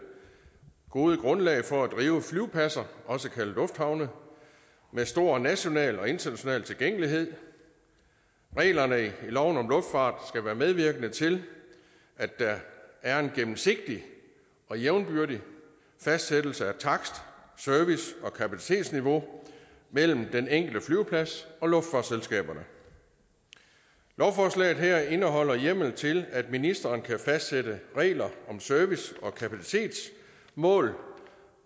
gode grundlag for at drive flyvepladser også kaldet lufthavne med stor national og international tilgængelighed reglerne i loven om luftfart skal være medvirkende til at der er en gennemsigtig og jævnbyrdig fastsættelse af takst service og kapacitetsniveau mellem den enkelte flyveplads og luftfartsselskaberne lovforslaget her indeholder hjemmel til at ministeren kan fastsætte regler om service og kapacitet målt